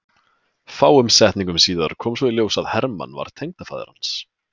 Fáeinum setningum síðar kom svo í ljós að Hermann var tengdafaðir hans.